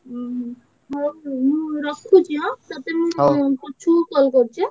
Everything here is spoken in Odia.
ଉହୁଁ ହଉ ମୁଁ ରଖୁଛି ଆଁ ତତେ ମୁଁ ପଛକୁ call କରୁଛି ଆଁ?